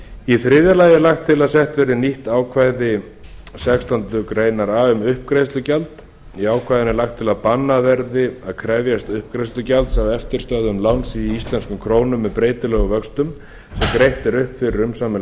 í þriðja lagi er lagt til að sett verði nýtt ákvæði sextándu grein a um uppgreiðslugjald í ákvæðinu er lagt til að bannað verði að krefjast uppgreiðslugjalds af eftirstöðvum láns í íslenskum krónum með breytilegum vöxtum sem greitt er upp fyrir umsaminn